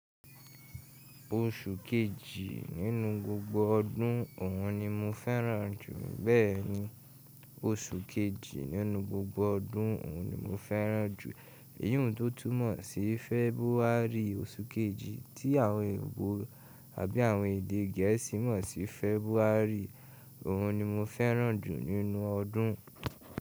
Oṣù kejì nínú gbogbo ọdún, òhun ni mo fẹ́ràn jù. Bẹ́ẹ̀ni, oṣù kejì nínú gbogbo ọdún, òhun ni mo fẹ́ràn jù. Èyun tó tún mọ̀ sí Fẹbúárì, oṣù kejì tí àwọn èèbó àbí àwọn èdè gẹ̀ẹ́sì mọ̀ sí February. Òhun ni mo fẹ́ràn jù nínú ọdún.